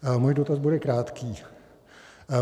Můj dotaz bude krátký.